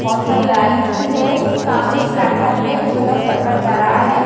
बहुत सारे लाइंस भी है सामने एक प्लेटफार्म में कुछ लोग चल कर जा रहा है।